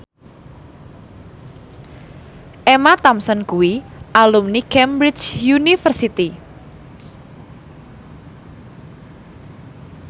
Emma Thompson kuwi alumni Cambridge University